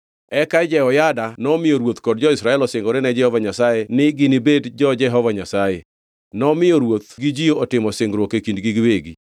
Eka Jehoyada nomiyo ruoth kod jo-Israel osingore ne Jehova Nyasaye ni ginibed jo-Jehova Nyasaye. Nomiyo ruoth gi ji otimo singruok e kindgi giwegi.